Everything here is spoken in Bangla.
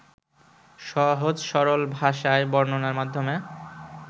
সহজ-সরল ভাষায় বর্ণনার মাধ্যমে